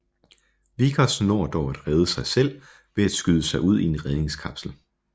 Vickers når dog at rede sig selv ved at skyde sig ud i en redningskapsel